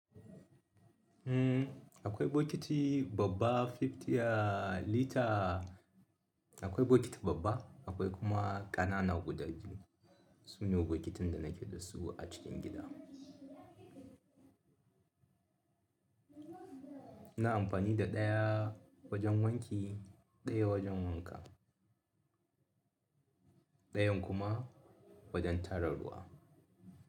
Hmm akwai bokiti babba 50 litre, akwai bokiti babba akwai kuma ƙanana guda biyu. Su ne bokitin da na ke da su a cikin gida. Na amfani da ɗaya wajen wanki, ɗaya wajen wanka, ɗayan kuma wajen tara ruwa.